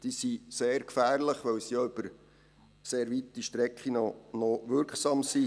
Diese sind sehr gefährlich, weil sie auch über sehr weite Strecken noch wirksam sind.